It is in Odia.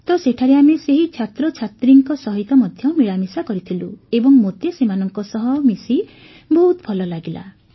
ତ ସେଠାରେ ଆମେ ସେହି ଛାତ୍ରଛାତ୍ରୀଙ୍କ ସହିତ ମଧ୍ୟ ମିଳାମିଶା କରିଥିଲୁ ଏବଂ ମୋତେ ସେମାନଙ୍କ ସହ ମିଶି ବହୁତ ଭଲ ଲାଗିଲା